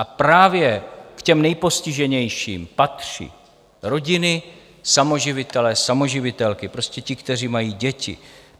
A právě k těm nejpostiženějším patří rodiny - samoživitelé, samoživitelky, prostě ti, kteří mají děti.